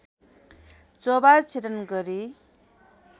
चोभार छेदन गरी